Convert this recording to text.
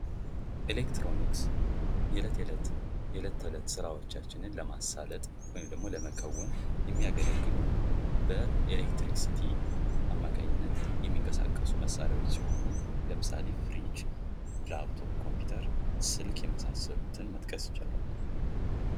ኤሌክትሮኒክስ የእለት ዕለት ስራዎቻችንን ለማሳለጥ ወይም ደሞ ለመከውን የሚያገለግሉን በኤሌክትሪሲቲ አማካኝነት የሚንቀሳቀሱ መሣሪያዎች ሲሆኑ ለምሳሌ ፍርጅ፥ ኮምፒዩተር፥ ስልክ የመሳሰሉትን መጥቀስ ይቻላል።